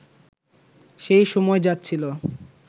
সেই সময় যাচ্ছিল